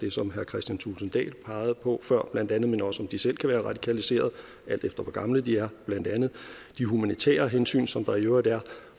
det som herre kristian thulesen dahl pegede på før bla men også om de selv kan være radikaliseret alt efter hvor gamle de er bla de humanitære hensyn som der i øvrigt er